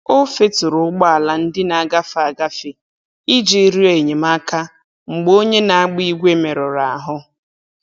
O feturu ụgbọala ndị na-agafe agafe iji rịọ enyemaka mgbe onye na-agba igwe merụrụ ahụ.